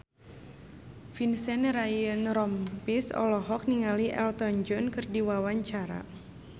Vincent Ryan Rompies olohok ningali Elton John keur diwawancara